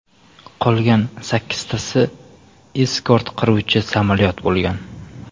Qolgan sakkiztasi eskort qiruvchi samolyot bo‘lgan.